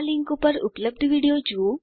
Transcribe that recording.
આ લીંક પર ઉપલબ્ધ વિડીયો જુઓ